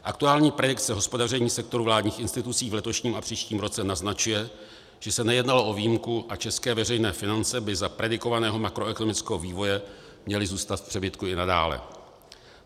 Aktuální predikce hospodaření sektoru vládních institucí v letošních a příštím roce naznačuje, že se nejednalo o výjimku a české veřejné finance by za predikovaného makroekonomického vývoje měly zůstat v přebytku i nadále.